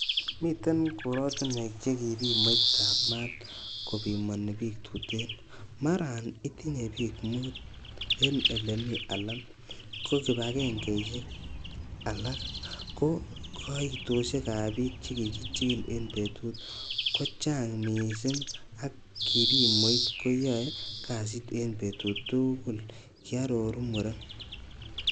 Miten korotinwek che kipimoitab maat kopimoni bik tuten, maran itinye bik mut en ele mii alan ko kibagengeisiek alak ko koitosiekab bik chekichigili en betut kochang missing, ak kipimoit koyoe kasit betut tugul,''Kiaror muren.